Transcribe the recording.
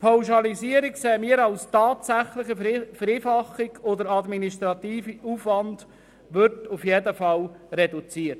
Die Pauschalisierung erachten wir tatsächlich als Vereinfachung, und der administrative Aufwand wird auf jeden Fall reduziert.